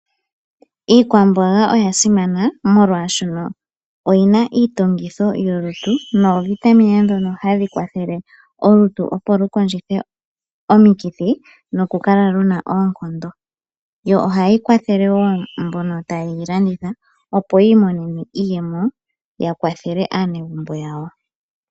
Iikwamboga oya simana molwashoka oyina iitungithi yolutu noovitamine dhono hadhi kwathele olutu, opo lu kondjithe mikithi nokukala luna oonkondo. Yo ohayi kwathele mbono taye yi landitha opo ya imonene iiyemo ya kwathele aanegumbo yawo.